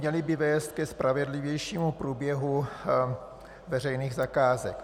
Měly by vést ke spravedlivějšímu průběhu veřejných zakázek.